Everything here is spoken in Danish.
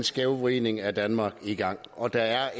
skævvridning af danmark i gang og der er